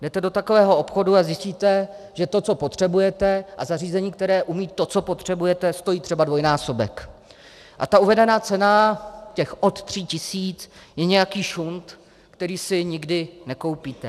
Jdete do takového obchodu a zjistíte, že to, co potřebujete a zařízení, které umí to, co potřebujete, stojí třeba dvojnásobek a ta uvedená cena, ta od tří tisíc, je nějaký šunt, který si nikdy nekoupíte.